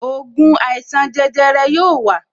Ògùn àìsàn jẹjẹrẹ yóò wa